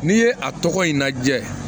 N'i ye a tɔgɔ in lajɛ